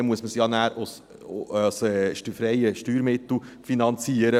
Danach muss man es ja aus freien Steuermitteln finanzieren.